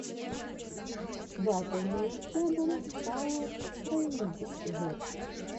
батл нео сэбэн пауэр рэйнджерс